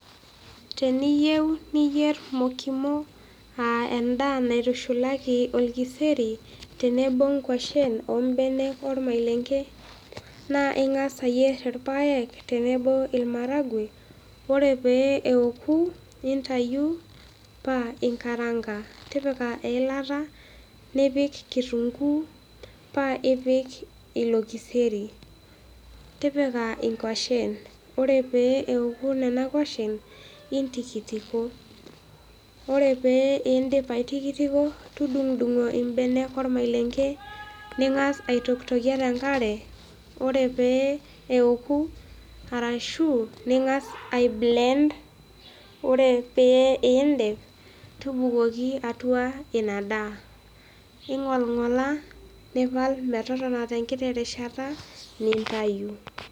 Teniiyeu niyerr mokimo aa endaa naitushalaki oo ilkseri tenebo ongoshen oo embene olmalenge, naa ingas ayerr ilpayek tenebo oo ilmaragwe, ore pee eoku nintayu pa inkaranka, titpika ill'ata nipik nkitunguu paa ipik lelo kiseri, tipika ennkoshen ore peoku nenia kosheb intikitiko, ore pee iindip aitikitiko tudung'dung'o imbene olmalenge ningas aitokitokie te inkarre ore pee eoku arashu ningas aibleend, ore pee iindip tubukoki atuaa ina daa, ing'olng'ola nipal metotona te nkiti rishata nintayu.